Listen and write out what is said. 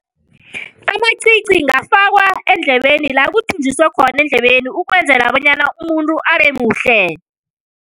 Amacici ngafakwa eendlebeni la kuthunjuswe khona eendlebeni ukwenzela bonyana umuntu abemuhle.